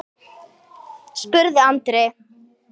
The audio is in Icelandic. spurði Andri.